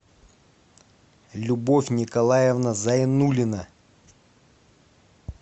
любовь николаевна зайнуллина